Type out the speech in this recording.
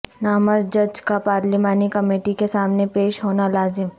نامزد ججز کا پارلیمانی کمیٹی کے سامنے پیش ہونا لازم